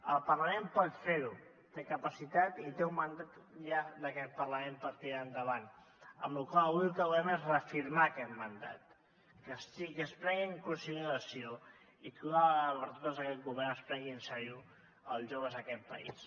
el parlament pot ferho té capacitat i té un mandat ja d’aquest parlament per tirar endavant amb la qual cosa avui el que volem és reafirmar aquest mandat que es prengui en consideració i que d’una vegada per totes aquest govern es prengui en sèrio els joves d’aquest país